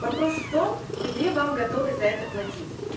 вопрос в том где вам готовы за это платить